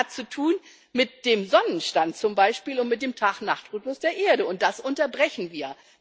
das hat zu tun mit dem Sonnenstand zum Beispiel und mit dem Tag Nacht Rhythmus der Erde, und das unterbrechen wir.